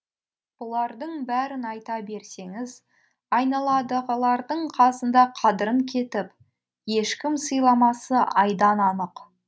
бұлардың бәрін айта берсеңіз айналадығылардың қасында қадірін кетіп ешкім сыйламасы айдан анық